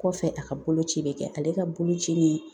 Kɔfɛ a ka boloci bɛ kɛ ale ka boloci ni